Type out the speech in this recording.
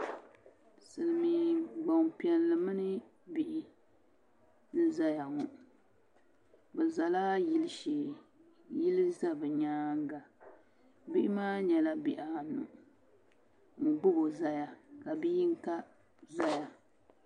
Silmiin Gbanpiɛli mini bihi n ʒɛya ŋɔ bi zala yili shee yili shee yili ʒɛ bi nyaanga bihi maa nyɛla bihi anu n gbubo ʒɛya ka bia yinga ʒɛya